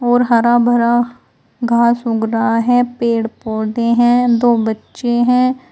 और हरा भरा घास उग रहा है पेड़ पौधे हैं दो बच्चे हैं।